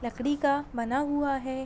लकड़ी का बना हुआ है।